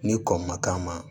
Ni kɔ ma k'a ma